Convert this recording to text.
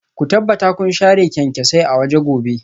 Ku tabbata kun share kyanksosai a waje gobe